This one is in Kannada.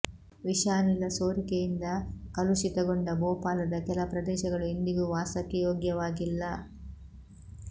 ವಿಷಾನಿಲ ಸೋರಿಕೆಯಿಂದ ಕಲುಷಿತಗೊಂಡ ಭೋಪಾಲದ ಕೆಲ ಪ್ರದೇಶಗಳು ಇಂದಿಗೂ ವಾಸಕ್ಕೆ ಯೋಗ್ಯವಾಗಿಲ್ಲ